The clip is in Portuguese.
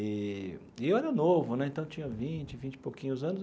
E e eu era novo né, então tinha vinte, vinte e pouquinhos anos.